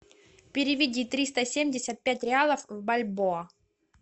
переведи триста семьдесят пять реалов в бальбоа